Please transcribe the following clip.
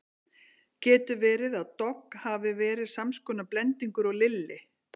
Getur verið að Dogg hafi verið sams konar blendingur og Lilli?